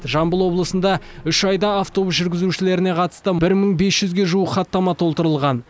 жамбыл облысында үш айда автобус жүргізушілеріне қатысты бір мың бес жүзге жуық хаттама толтырылған